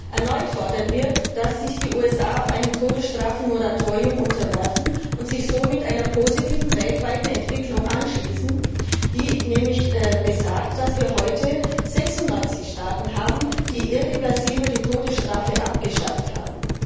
Erneut fordern wir, dass sich die USA einem Todesstrafe Moratorium unterwerfen und sich somit einer weltweiten Entwicklung anschließen, die nämlich besagt, dass wir heute 96 Staaten haben, die irreversibel die Todesstrafe abgeschafft haben.